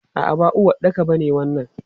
A'a, ba uwaɗɗaka ba ne wannan.